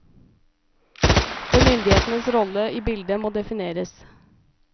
For myndighetenes rolle i bildet må defineres.